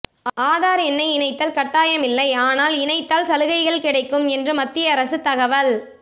ஆதார் எண்ணை இணைத்தல் கட்டாயம் இல்லை ஆனால் இணைத்தால் சலுகைகள் கிடைக்கும் என்று மத்திய அரசு தகவல்